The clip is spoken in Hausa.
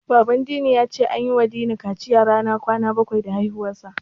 Baban Dini ya ce an yiwa Dini kaciya ranar kwana bakwai da haihuwarsa.